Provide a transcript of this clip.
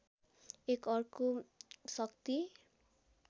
एक अर्को शक्ति